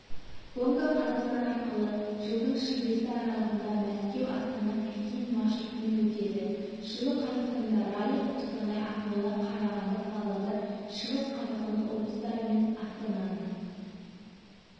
гонка қазақстан арқылы жылдың шілдесі аралығында мәскеу-астана-пекин маршрутымен өтеді жылы қазақстанда ралли қостанай ақмола қарағанды павлодар шығыс қазақстан облыстары мен астананы